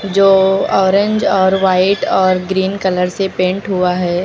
जो ऑरेंज और वाइट और ग्रीन कलर से पेंट हुआ है।